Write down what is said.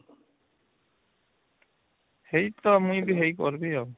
ସେଇ ତ ମୁଇ କରିବି ଆଉ